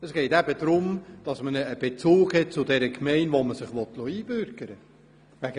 Es geht darum, dass man einen Bezug zu der Gemeinde hat, in der man sich einbürgern lassen will.